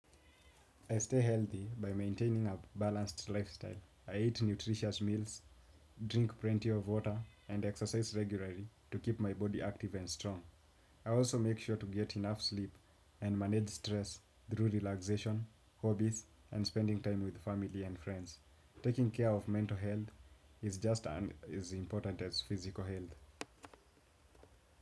I stay healthy by maintaining a balanced lifestyle. I eat nutritious meals, drink plenty of water and exercise regularly to keep my body active and strong. I also make sure to get enough sleep and manage stress through relaxation, hobbies and spending time with family and friends. Taking care of mental health is just as important as physical health.